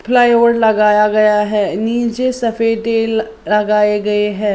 Flyover लगाया गया है नीचे लगाए गए हैं।